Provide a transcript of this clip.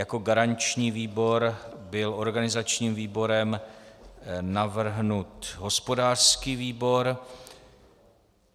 Jako garanční výbor byl organizačním výborem navrhnut hospodářský výbor.